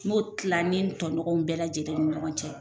N b'o tila ni n tɔɲɔgɔw bɛɛ lajɛlen ni ɲɔgɔn cɛ.